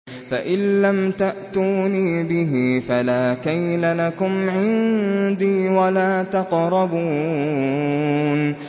فَإِن لَّمْ تَأْتُونِي بِهِ فَلَا كَيْلَ لَكُمْ عِندِي وَلَا تَقْرَبُونِ